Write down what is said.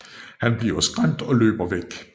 Han bliver skræmt og løber væk